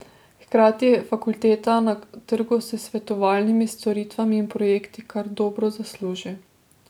Hkrati fakulteta na trgu s svetovalnimi storitvami in projekti kar dobro zasluži.